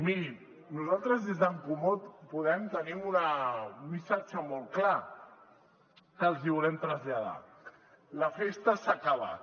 mirin nosaltres des d’en comú podem tenim un missatge molt clar que els hi volem traslladar la festa s’ha acabat